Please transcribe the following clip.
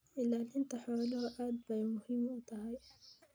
Ilaalinta xooluhu aad bay muhiim u tahay.